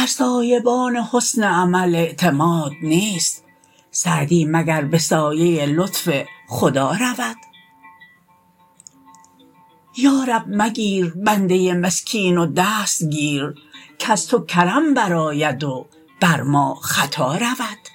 بر سایبان حسن عمل اعتماد نیست سعدی مگر به سایه لطف خدا رود یارب مگیر بنده مسکین و دست گیر کز تو کرم برآید و بر ما خطا رود